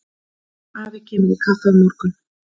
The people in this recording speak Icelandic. Afi kemur í kaffi á morgun.